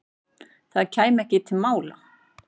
Það kæmi ekki til mála.